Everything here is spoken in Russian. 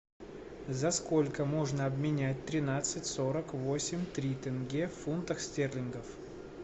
за сколько можно обменять тринадцать сорок восемь три тенге в фунтах стерлингов